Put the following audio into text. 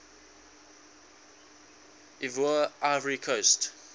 ivoire ivory coast